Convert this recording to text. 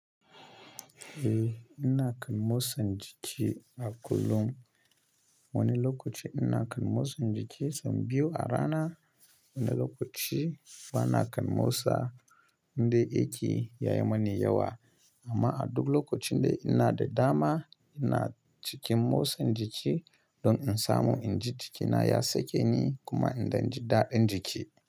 Eh, ina kan motsa jiki a kullum. Wani lokaci ina kan motsa jiki sau biyu a rana. Wani lokaci bana kan motsa indai aiki ya yi mani yawa. Amma a duk lokacin da ina da dama, ina cikin motsa jiki don in samu in ji jikina ya sake ni kuma in dann ji daɗin jiki.